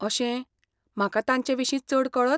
अशें, म्हाका तांचे विशीं चड कळत?